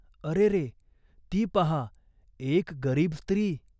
अरेरे ! ती पाहा एक गरीब स्त्री !